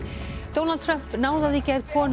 Donald Trump náðaði í gær konu